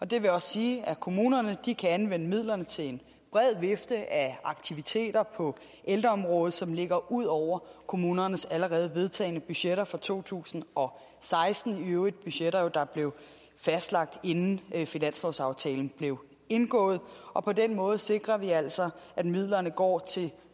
det vil også sige at kommunerne kan anvende midlerne til en bred vifte af aktiviteter på ældreområdet som ligger ud over kommunernes allerede vedtagne budgetter for to tusind og seksten i øvrigt budgetter der blev fastlagt inden finanslovsaftalen blev indgået og på den måde sikrer vi altså at midlerne går til